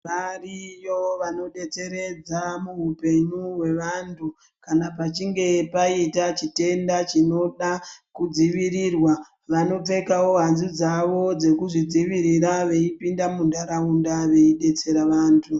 Variyo vanodetseredza muhupenyu hwevanthu kana pachinge paita chitenda chinoda kudzivirirwa vanopfekao hanzu dzavo dzekuzvidzivirira veipinda muntharaunda veidetsera vanthu.